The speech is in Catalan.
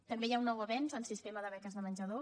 també hi ha un nou avenç en el sistema de beques de menjador